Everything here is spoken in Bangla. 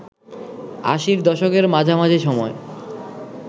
আশির দশকের মাঝামাঝি সময়